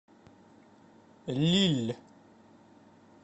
лилль